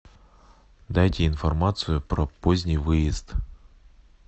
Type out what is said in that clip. дайте информацию про поздний выезд